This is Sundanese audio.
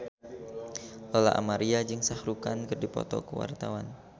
Lola Amaria jeung Shah Rukh Khan keur dipoto ku wartawan